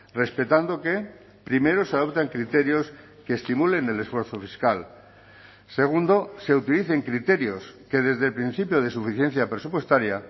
respetando que primero se adopten criterios que estimulen el esfuerzo fiscal segundo se utilicen criterios que desde el principio de suficiencia presupuestaria